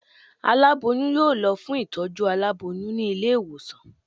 Alaboyun yóò lo fún itojú àláboyún ni ilé iwosàn